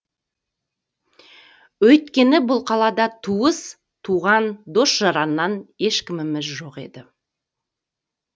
өйткені бұл қалада туыс туған дос жараннан ешкіміміз жоқ еді